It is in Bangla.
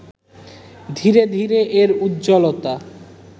ধীরে ধীরে এর উজ্জ্বলতা